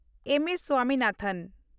ᱮᱢ. S. Swaminathan